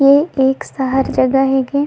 ये एक शहर जगह हे के।